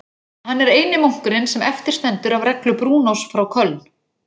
Hann er eini munkurinn sem eftir stendur af reglu Brúnós frá Köln.